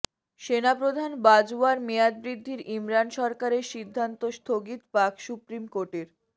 সেনাপ্রধান বাজওয়ার মেয়াদ বৃদ্ধির ইমরান সরকারের সিদ্ধান্ত স্থগিত পাক সুপ্রিম কোর্টের